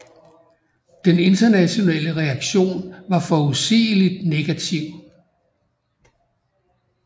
Den internationale reaktion var forudsigeligt negativ